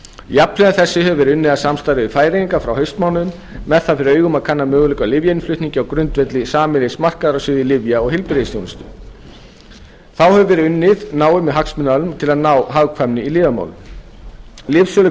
jafnhliða þessu hefur verið unnið að samstarfi við færeyinga frá haustmánuðum með það fyrir augum að kanna möguleika á lyfjainnflutningi á grundvelli sameiginlegs markaðar á sviði lyfja og heilbrigðisþjónustu þá hefur verið unnið náið með hagsmunaaðilum til að ná hagkvæmari í